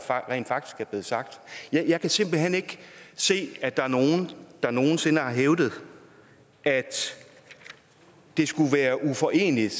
rent faktisk er blevet sagt jeg kan simpelt hen ikke se at der er nogle der nogen sinde har hævdet at det skulle være uforeneligt